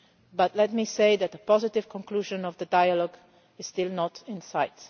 But let me say that a positive conclusion of the dialogue is still not in sight.